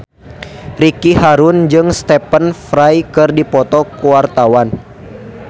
Ricky Harun jeung Stephen Fry keur dipoto ku wartawan